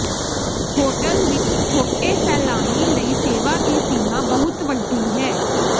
hotel ਵਿਚ ਛੋਟੇ ਸੈਲਾਨੀ ਲਈ ਸੇਵਾ ਦੀ ਸੀਮਾ ਬਹੁਤ ਵੱਡੀ ਹੈ